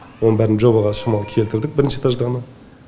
оның бәрін жобаға шамалы келтірдік бірінші этажды ғана